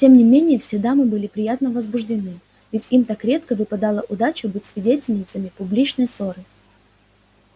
тем не менее все дамы были приятно возбуждены ведь им так редко выпадала удача быть свидетельницами публичной ссоры